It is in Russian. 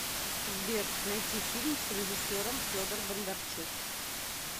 сбер найти фильм с режисером федор бондарчук